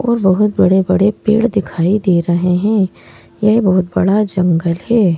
और बहुत बड़े-बड़े पेड़ दिखाई दे रहे हैं यह बहुत बड़ा जंगल है।